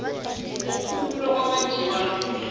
kukhululwa kwamadiba lamuhla